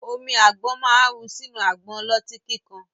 Omi àgbọ̀n ma ru sínú àgbọn ọlọ́tí kíkan